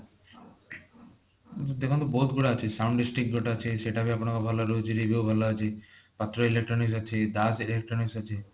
ଦେଖନ୍ତୁ ବହୁତ ଗୁଡାଏ ଅଛି sound dish tick ଗୋଟେ ଅଛି ସେଟ ବି ଆପଣଙ୍କର ଭଲ ରହୁଛି review ଭଲ ଅଛି ପାତ୍ର electronics ଅଛି dash electronics ଅଛି